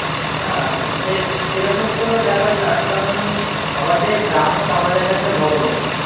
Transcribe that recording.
না, সে সেরকম কোনো ব্যাপার না, কারণ আমাদের গ্রাহক আমাদের কাছে ভগবান।